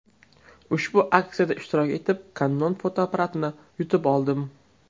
Ushbu aksiyada ishtirok etib, Canon fotoapparatini yutib oldim.